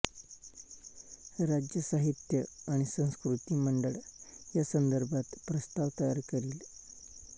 राज्य साहित्य आणि संस्कृती मंडळ या संदर्भात प्रस्ताव तयार करील